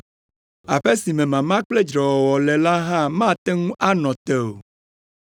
Aƒe si me mama kple dzrewɔwɔ le la hã mate ŋu anɔ te o.